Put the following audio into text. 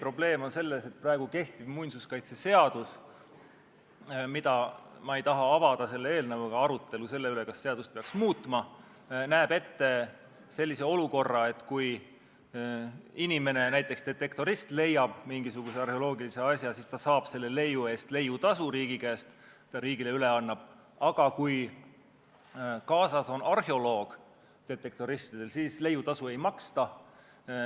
Probleem on selles, et praegu kehtiv muinsuskaitseseadus – ma ei taha avada selle eelnõuga arutelu selle üle, kas seadust peaks muutma – näeb ette sellise olukorra, et kui inimene, näiteks detektorist, leiab mingisuguse arheoloogilise asja, siis ta saab selle leiu eest leiutasu riigi käest, kui ta selle riigile üle annab, aga kui detektoristidel on kaasas arheoloog, siis leiutasu ei maksta.